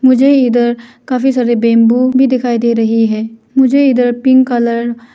मुझे इधर काफी सारे बेमबू भी दिखाई दे रही है मुझे इधर पिंक कलर --